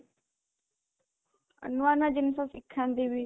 ନୂଆ ନୂଆ ଜିନିଷ ଶିଖାନ୍ତି ବି